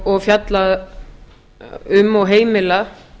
og fjalla um og heimila